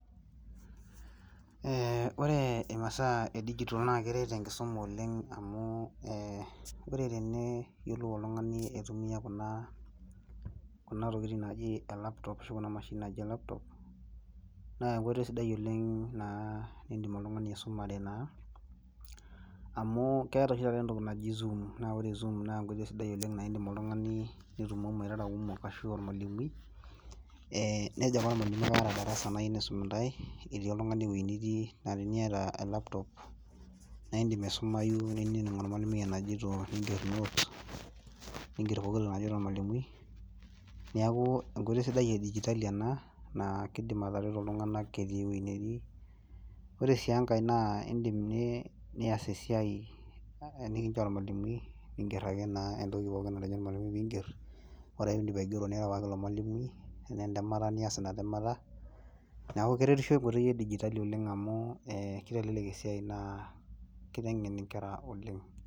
oree imasaa ee dijitol naa keret enkisuma oleng amuu ore teneyiolou oltungani aitumia kuna tokitin naaji elaptop ashuu kuna mashinini naaji elaptop naa enkoitoi sidai oleng niidnim oltungani aisumare amuu keetai oshii taata entoki naaji zoom naa ore zoom na enkoitoi sidai oleng naa indiim oltungani nitumomo irara kumok ashu olmalimui nejo ake olmalimui kaata darasa naa kayieu naisum intae etii oltungani ewoji nitii na teniata elaptop na indim aisumayu nining olmalimui enajito ninger notes ninger pooki toki najito olmalimui neeku enkoitoi sidai e dijitali enaa naa keidim atareto iltunaga etii ewoji netii oree sii enkai naa indim nias esiai nikincho olmalimui ningerr ake entokii naa pookin natejo olmalimui ore ake piindip aigero niyaki ake ilo malimui tenaa endemata nias ake ina temaata neeeku keretisho enkoitoi ee dijitali amuu keitelelek esiai naa keitengen ikerra oleng